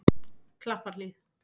Klapparhlíð